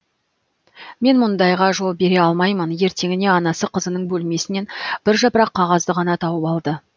мен мұндайға жол бере алмаймын ертеңіне анасы қызының бөлмесінен бір жапырақ қағазды ғана тауып алды